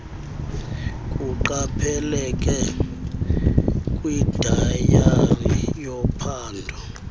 kuqapheleke kwidayari yophando